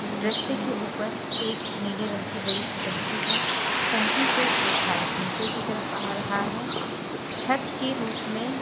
रस्ते के ऊपर एक नीले रंग की बड़ी सी टंकी है टंकी से एक पाइप नीचे की तरफ आ रहा है छत के रूख में--